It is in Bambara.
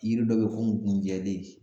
Yiri dɔ be yen ko gunjɛlen.